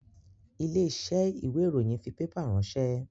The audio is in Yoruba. Ilé iṣẹ́ ìwé ìròyìn fi pépà ránsẹ́